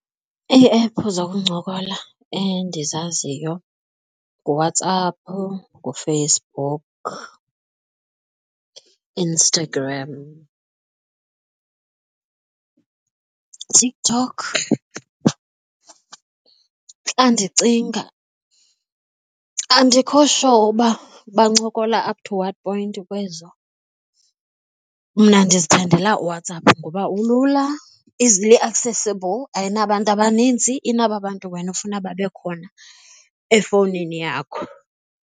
Ii-app zokuncokola endizaziyo nguWhatsApp, nguFacebook, Instagram TikTok. Xa ndicinga andikho sure uba bancokola up to what point kwezo. Mna ndizithandela uWhatsApp ngoba ulula, easily accessible ayinabantu abanintsi inaba bantu wena ufuna babekhona efowunini yakho.